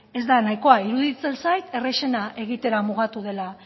ez da nahikoa iruditzen zait errazena egitera mugatu dela